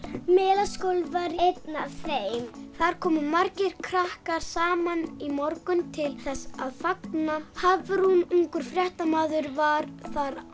Melaskóli er einn af þeim þar komu margir krakkar saman í morgun til þess að fagna Hafrún ungur fréttamaður var á